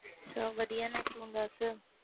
ਸਬ ਵਧਿਆ ਤੂੰ ਦਸ